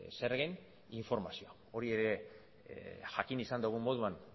zergen informazioa hori ere jakin izan dugun moduan